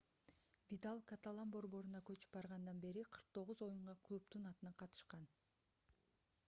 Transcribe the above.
видаль каталан борборуна көчүп баргандан бери 49 оюнга клубдун атынан катышкан